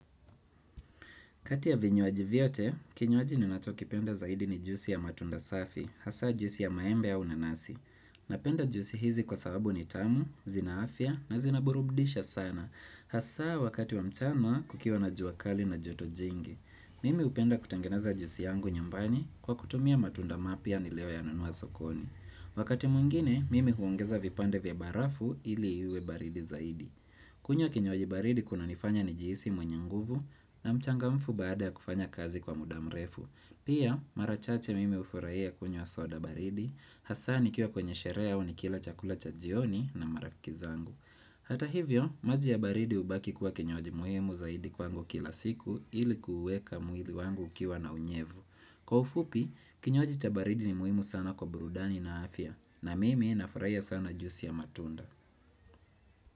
Kati ya vinywaji vyote, kinywaji ninachokipenda zaidi ni juisi ya matunda safi, hasa juisi ya maembe au nanasi. Napenda juisi hizi kwa sababu ni tamu, zina afya na zinaburudisha sana. Hasa wakati wa mchana kukiwa na jua kali na joto jingi. Mimi hupenda kutengeneza juisi yangu nyumbani kwa kutumia matunda mapya niliyoyanunua sokoni. Wakati mwingine, mimi huongeza vipande vya barafu ili iwe baridi zaidi. Kunywa kinywaji baridi kunanifanya nijihisi mwenye nguvu na mchangamfu baada ya kufanya kazi kwa muda mrefu. Pia mara chache mimi hufurahia kunywa soda baridi, hasa nikiwa kwenye sherehe au nikila chakula cha jioni na marafiki zangu. Hata hivyo maji ya baridi hubaki kuwa kinywaji muhimu zaidi kwangu kila siku ili kuuweka mwili wangu ukiwa na unyevu. Kwa ufupi kinywaji cha baridi ni muhimu sana kwa burudani na afya na mimi nafurahia sana juisi ya matunda.